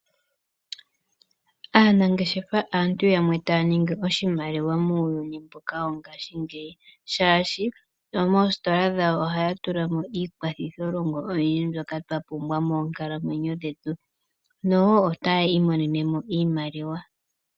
Aanangeshefa aantu yamwe taya ningi oshimaliwa muuyuni mbuka wongashingeyi shaashi moostola dhawo ohaya tula mo iikwathitholongo oyindji mbyoka twa pumbwa moonkalamwenyo dhetu noho otaya imonene mo iimaliwa.